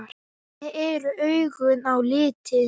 Hvernig eru augun á litinn?